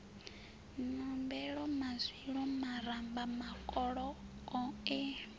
nombelo mazwilu maramba makoloko e